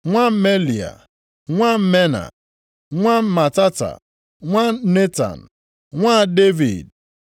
nwa Melea, nwa Mena, nwa Matata, nwa Netan, nwa Devid;